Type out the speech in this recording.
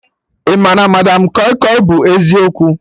Ị ma na madam kọi kọi bụ eziokwu?